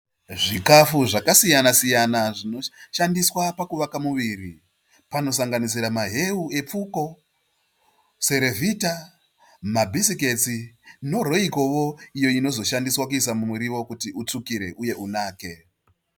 Zvikafu zvakasiyana siyana zvinoshandiswa pakuvaka muviri . Panosanganisira maheu ePfuko, Cerevita mabhisikitsi noRoycowo iyo inozoshandiswa kuiswa mumuriwo kuti utsvukire uye unake.